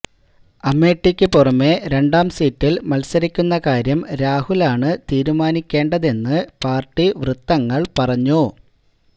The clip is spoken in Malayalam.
അമേഠിക്കു പുറമേ രണ്ടാം സീറ്റിൽ മത്സരിക്കുന്ന കാര്യം രാഹുലാണ് തീരുമാനിക്കേണ്ടതെന്നു പാർട്ടി വൃത്തങ്ങൾ പറഞ്ഞു